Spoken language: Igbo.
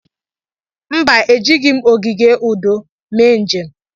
Mba, Ejighị m ogige udo mee njem.